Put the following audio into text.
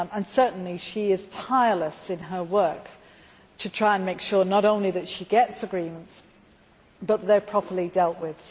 Certainly she is tireless in her work to try to make sure not only that she gets agreements but that they are properly dealt with.